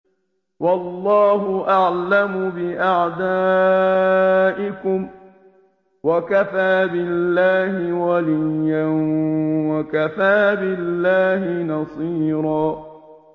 وَاللَّهُ أَعْلَمُ بِأَعْدَائِكُمْ ۚ وَكَفَىٰ بِاللَّهِ وَلِيًّا وَكَفَىٰ بِاللَّهِ نَصِيرًا